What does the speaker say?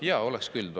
Jaa, oleks küll tore.